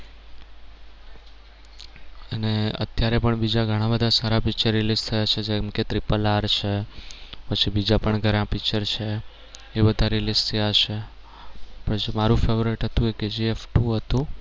અત્યારે પણ બીજા ઘણા બધા સારા picture release થયા છે જેમ કે triple r છે પછી બીજા પણ ઘણા picture છે એ બધા release થયા છે પછી મારુ favorite હતું એ Kgf two હતું.